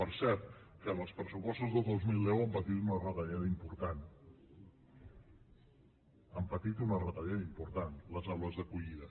per cert que en els pressupostos del dos mil deu han patit una retallada important han patit una retallada important les aules d’acollida